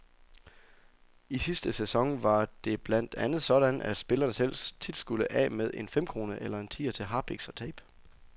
I sidste sæson var det blandt andet sådan, at spillerne selv tit skulle af med en femkrone eller en tier til harpiks og tape.